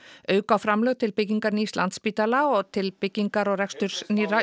auka á framlög til byggingar nýs Landspítala og til byggingar og reksturs nýrra